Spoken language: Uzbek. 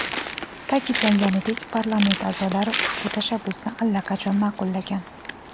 Ta’kidlanganidek, parlament a’zolari ushbu tashabbusni allaqachon ma’qullagan.